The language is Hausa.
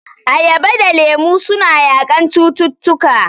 Ayaba da lemu suna yaƙan cututtuka..